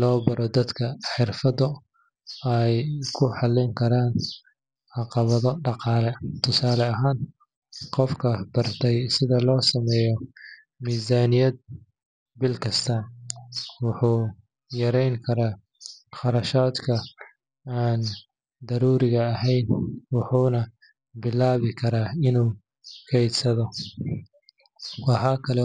loo baro dadka xirfado ay ku xallin karaan caqabado dhaqaale. Tusaale ahaan, qofka bartay sida loo sameeyo miisaaniyad bil kasta ah wuxuu yareyn karaa kharashaadka aan daruuriga ahayn, wuxuuna bilaabi karaa inuu kaydsado. Waxaa kaloo.